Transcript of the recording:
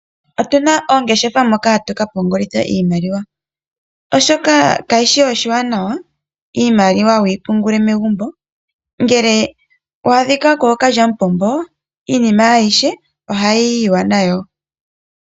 Otuna oongeshefa mono hatu kapungulila iimaliwa oshoka kayishi oshiwanawa iimaliwa wuyi pungule megumbo ngele wa adhika kookalyamupombo iinima ayihe ohayiyiwa nayo.